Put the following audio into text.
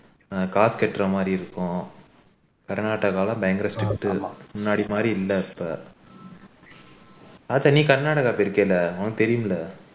காசு கட்டற மாதிரி இருக்கும் கர்நாடகாவில் எல்லாம் இப்போ பயங்கர strict முன்னாடி மாதிரி இல்ல இப்ப அதா நீ கர்நாடகா போய் இருக்க இல்ல உனக்கு தெரியும்ல